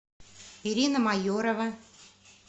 ирина майорова